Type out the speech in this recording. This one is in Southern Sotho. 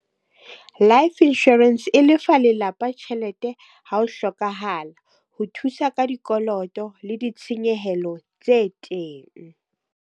Life insurance e lefa lelapa tjhelete ha ho hlokahala. Ho thusa ka dikoloto le ditshenyehelo tse teng.